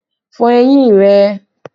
Fọ eyín rẹ!